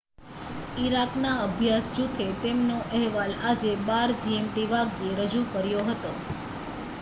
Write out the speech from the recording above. Iraq ના અભ્યાસ જુથે તેમનો અહેવાલ આજે 12:00 gmt વાગ્યે રજૂ કર્યો હતો